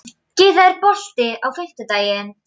Gyða, er bolti á fimmtudaginn?